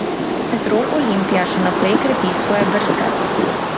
Petrol Olimpija še naprej krepi svoje vrste.